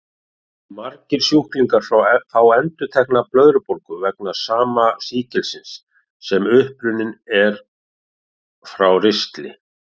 Margir sjúklingar fá endurtekna blöðrubólgu vegna sama sýkilsins, sem upprunninn er frá ristli.